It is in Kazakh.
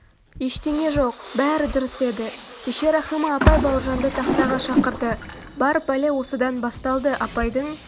ештеңе жоқ бәрі дұрыс еді кеше рахима апай бауыржанды тақтаға шақырды бар пәле осыдан басталды апайдың